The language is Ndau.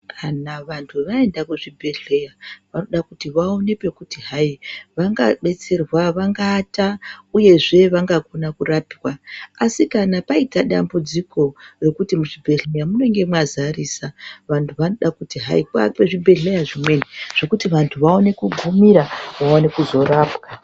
Kana vantu vaenda kzvibhedhleya vanoda kuti vaone pekuti hai vangabetserwa vangaata uyezve vangakona kurapwa. Asi kana paita dambudziko rekuti muzvibhedhleya munenge mazarisa. Vantu vanoga kuti hai kuakwe zvibhedhleya zvimweni zvekuti vantu vaone kugumira vaone kuzorapwa.